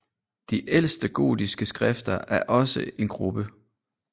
De ældre gotiske skrifter er også en gruppe